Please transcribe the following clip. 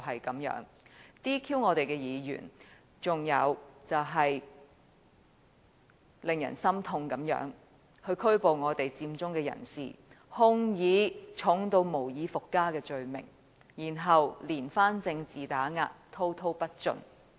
他 "DQ" 我們的議員，還有令人心痛的就是拘捕佔中人士，控以嚴重得無以復加的罪名，然後連番政治打壓，滔滔不盡。